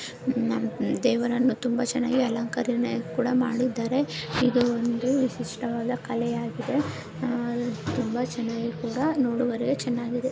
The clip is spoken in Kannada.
ದೇವರನ್ನು ತುಂಬಾ ಚೆನ್ನಾಗಿ ಕೂಡ ಅಲಂಕಾರ ಕೂಡ ಮಾಡಿದ್ದಾರೆ ಇದು ಒಂದು ವಿಶಿಷ್ಟವಾದ ಕಲೆ ಆಗಿದೆ ತುಂಬಾ ಚೆನ್ನಾಗಿ ಕೂಡ ನೋಡುವರಿಗೆ ಚ್ಗೆನಾಗಿದೆ.